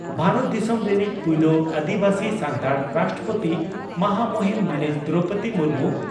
ᱵᱷᱟᱨᱚᱛ ᱫᱤᱥᱚᱢ ᱨᱮᱱᱤᱡ ᱯᱩᱭᱞᱩ ᱟᱹᱫᱤᱵᱟᱹᱥᱤ ᱥᱟᱱᱛᱟᱲ ᱨᱟᱥᱴᱨᱚᱯᱳᱛᱤ ᱢᱟᱦᱟᱢᱩᱦᱤᱱ ᱢᱟᱹᱱᱤᱡ ᱫᱨᱚᱣᱯᱚᱫᱤ ᱢᱩᱨᱢᱩ